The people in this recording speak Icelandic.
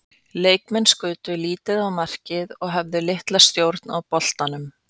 Leikmenn skutu lítið á markið og höfðu litla stjórn á boltanum.